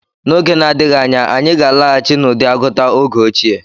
N'oge na-adịghị anya, anyị ga-alaghachi n'ụdị agụta oge ochie.